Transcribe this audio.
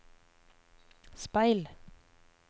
speil